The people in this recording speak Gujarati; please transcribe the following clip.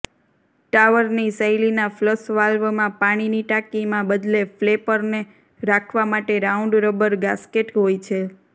ટાવરની શૈલીના ફ્લશ વાલ્વમાં પાણીની ટાંકીમાં બદલે ફ્લૅપરને રાખવા માટે રાઉન્ડ રબર ગાસ્કેટ હોય છે